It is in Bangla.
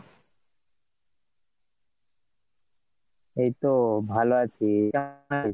এই তো ভালো আছি